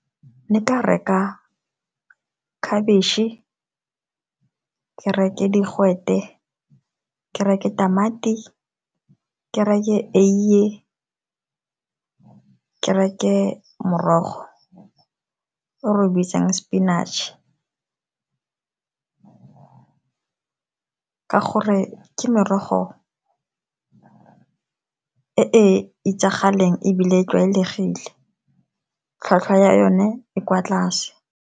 Ne nka reka khabitšhe, ke reke digwete, ke reke tamati, ke reke eiye, ke reke morogo o re o bitsang sepinatšhe, ka gore ke merogo e e itsagaleng ebile e tlwaelegile, tlhwatlhwa ya one e kwa tlase.